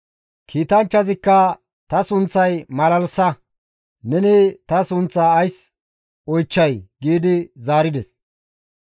Kiitanchchazikka «Ta sunththay malalsa; neni ta sunththaa ays oychchay?» giidi zaarides.